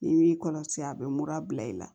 I b'i kɔlɔsi a bɛ mura bila i la